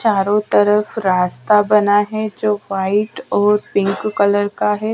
चारों तरफ रास्ता बना है जो वाइट और पिंक कलर का है।